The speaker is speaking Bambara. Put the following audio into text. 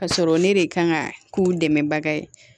Ka sɔrɔ ne de kan ka k'u dɛmɛbaga ye